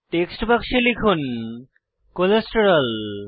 text বাক্সে লিখুন cholesterol